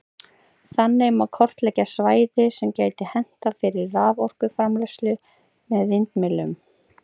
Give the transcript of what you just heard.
Þannig má kortleggja svæði sem gæti hentað fyrir raforkuframleiðslu með vindmyllum.